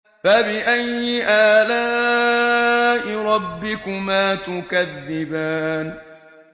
فَبِأَيِّ آلَاءِ رَبِّكُمَا تُكَذِّبَانِ